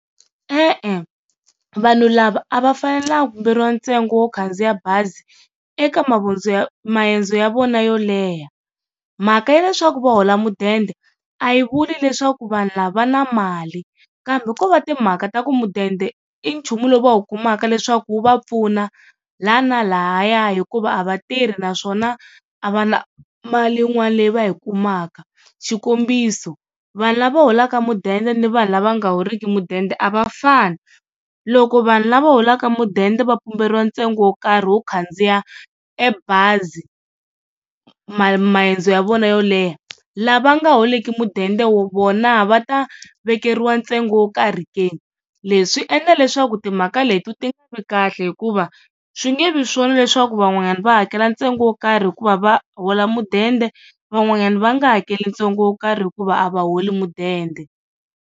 E-e vanhu lava a va fanelanga ku pumberiwa ntsengo wo khandziya bazi eka maendzo ya vona yo leha. Mhaka ya leswaku va hola mudende a yi vuli leswaku vanhu lava va na mali, kambe ko va timhaka ta ku mudende i nchumu lowu va wu kumaka leswaku wu va pfuna laha na lahayani hikuva a va tirhi naswona a va na mali yin'wana leyi va yi kumaka. Xikombiso vanhu lava holaka mudende ni vanhu lava nga horiki mudende a va fani, loko vanhu lava holaka mudende va pumberiwa ntsengo wo karhi wo khandziya ebazi ma, maendzo ya vona yo leha. Lava nga holiki mudende vona va ta vekeriwa ntsengo wo karhi ke, leswi swi endla leswaku timhaka leti ti nga vi kahle hikuva swi nge vi swona leswaku van'wana va hakela ntsengo wo karhi hikuva va hola mudende van'wanyana va nga hakeli ntsengo wo karhi hikuva a va holi mudende.